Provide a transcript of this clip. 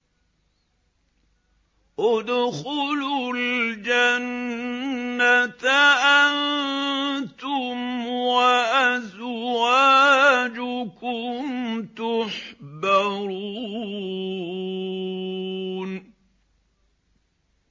ادْخُلُوا الْجَنَّةَ أَنتُمْ وَأَزْوَاجُكُمْ تُحْبَرُونَ